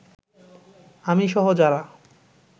আমিসহ যারা